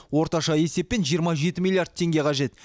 орташа есеппен жиырма жеті милллиард теңге қажет